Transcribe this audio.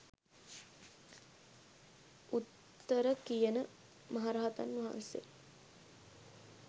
උත්තර කියන මහරහතන් වහන්සේ